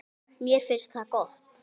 Mér finnst það gott.